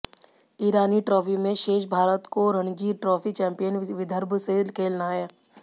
ईरानी trophy में शेष भारत को रणजी ट्रॉफी चैम्पियन विदर्भ से खेलना है